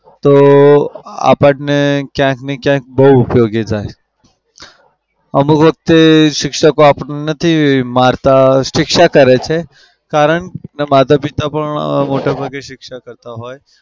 તો આપડને ક્યાંકને ક્યાંક બઉ ઉપયોગી થાય. અમુક વખતે શિક્ષકો આપડાને નથી મારતા શિક્ષા કરે છે. કારણ કે માતા-પિતા પણ મોટા ભાગે શિક્ષા કરતા હોય.